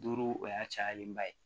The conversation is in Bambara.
Duuru o y'a cayalenba ye